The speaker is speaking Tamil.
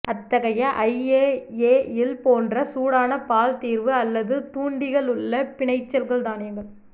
அத்தகைய ஐஏஏயில் போன்ற சூடான பால் தீர்வு அல்லது தூண்டிகள் உள்ள பிணைச்சல் தானியங்கள்